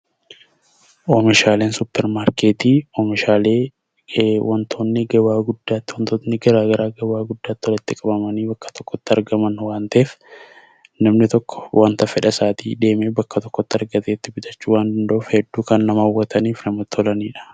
Oomishaaleen suuparmaarketii oomishaalee wantoonni gabaa guddaatti, wantoonni karaa garaa garaa gabaa guddaatti walitti qabamanii bakka tokkotti argaman waan ta'eef, namni tokko waanta fedhasaatii deemee bakka tokkotti argatee bitachuu waan danda'uuf, hedduu kan nama hawwataniif namatti tolanidha.